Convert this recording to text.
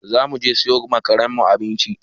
Za mu je siyo ma karen mu abinci.